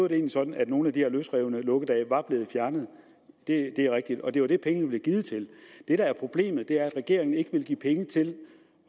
det sådan at nogle af de her løsrevne lukkedage var blevet fjernet det er rigtigt og det er det pengene blev givet til det der er problemet er at regeringen ikke vil give penge til